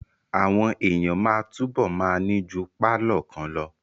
Àwọn èèyàn máa túbọ̀ ma ní ju pálọ̀ kan lọ